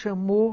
Chamou.